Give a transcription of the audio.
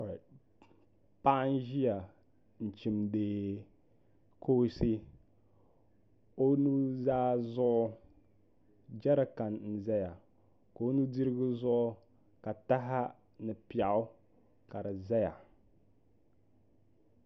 Paɣa n ʒiya n chimdi kooshɛ o nuzaa zuɣu jɛrikan n ʒɛya ka o nu dirigu zuɣu ka taha ni piɛɣu ka di ʒɛya